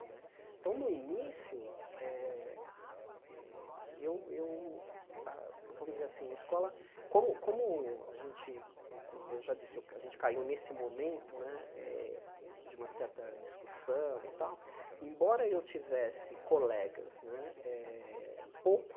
Né então, no início, eh eu eu a, vamos dizer assim, a escola, como como a gente, eu já disse, a gente caiu nesse momento né eh de uma certa discussão e tal, embora eu tivesse colegas né eh pouco